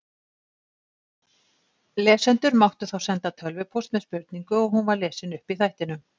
Lesendur máttu þá senda tölvupóst með spurningu og hún var lesin upp í þættinum.